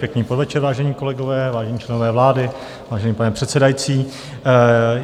Pěkný podvečer, vážení kolegové, vážení členové vlády, vážený pane předsedající.